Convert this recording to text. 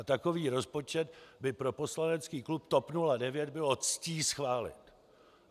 A takový rozpočet by pro poslanecký klub TOP 09 bylo ctí schválit.